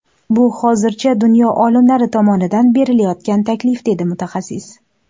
Bu hozircha dunyo olimlari tomonidan berilayotgan taklif”, dedi mutaxassis.